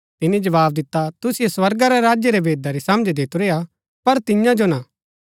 तिनी जवाव दिता तुसिओ स्वर्गा रै राज्य रै भेदा री समझ दितुरी हा पर तियां जो ना